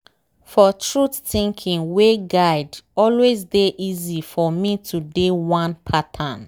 for truth thinking way guide always dey easy for me to dey one pattern.